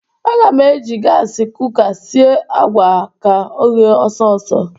Aga m eji gasị kuka sie àgwà a ka o ghee ọsọ ọsọ.